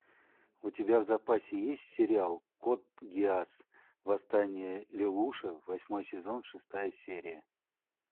у тебя в запасе есть сериал код гиас восстание лелуша восьмой сезон шестая серия